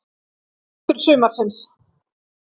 Hápunktur sumarsins?